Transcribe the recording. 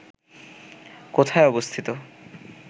কোথায় অবস্থিত